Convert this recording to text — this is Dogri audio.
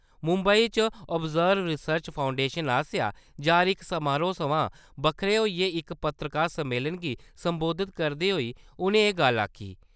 मुम्बई च 'ओवज़रब रिसर्च फाउंडेशन' आस्सेआ जारी इक समारोह सवां बक्ख-बाह्‌रें इक पत्रकार सम्मेलन गी सम्बोधित करदे होई उ`नें एह् गल्ल आक्खी।